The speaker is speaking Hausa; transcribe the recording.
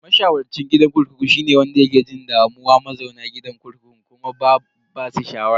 Masharwacin gidan kurkuku shine wanda yake jin damuwa mazauna gidan kurkukun kuma ba basu shawara.